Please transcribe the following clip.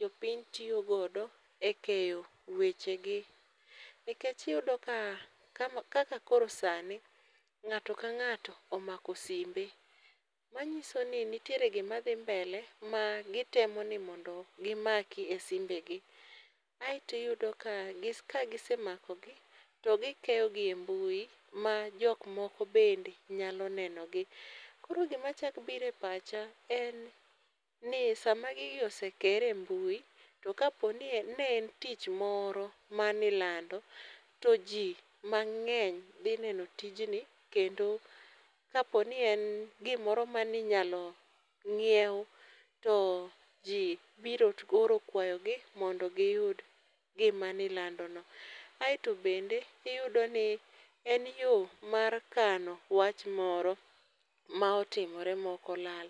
jopiny tiyo godo e keyo wechegi. Nikech iyudo ka, kama kaka koro sani, ng'ato ka ng'ato omako simbe. Manyiso ni nitiere gi madhi mbele ma gitemo ni mondo gimaki e simbegi. Aeto iyudo ka ka gise makogi to gi keyogi e mbui ma jokmoko bende nyalo neno gi. Koro gima chak bire pacha en ni sama gigi ose kere mbui to kapo ni ne en tich moro manilando to ji mang'eny dhi neno tijni kendo kapo ni en gimoro maninyalo ng'iew, to ji biro oro kwayogi mondo giyud gima nilandono. Aeto bende, iyudo ni en yo mar kano wach moro ma otimore ma ok olal.